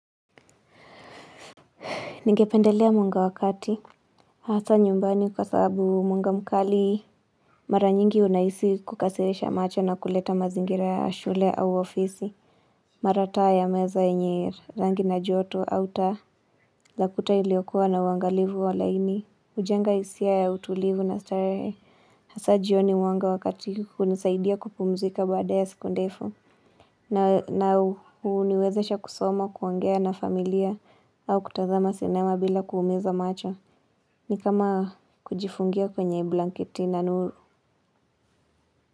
Ningependelea mwanga wakati Hasa nyumbani kwa sababu munga mkali Mara nyingi unahisi kukasirisha macho na kuleta mazingira ya shule au ofisi Mara taa ya meza yenye rangi na joto au taa Lakuta iliokuwa na uangalivu wa laini ujenga hisia ya utulivu na starehe hasa jioni wanga wakati hunisaidia kupumzika baada ya siku ndefu na uniwezesha kusoma kuongea na familia au kutazama sinema bila kuumiza macho ni kama kujifungia kwenye blanketi na nuru.